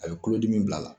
A bɛ kulodimi bil'a la